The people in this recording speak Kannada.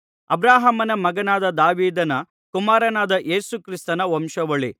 ಅಬ್ರಹಾಮನ ಮಗನಾದ ದಾವೀದನ ಕುಮಾರನಾದ ಯೇಸು ಕ್ರಿಸ್ತನ ವಂಶಾವಳಿ